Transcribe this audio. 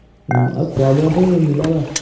উম্, আৰু খোৱা-বোৱাতো মিলাবা